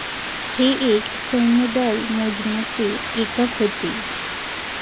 हे एक सैन्यदल मोजण्याचे एकक होते.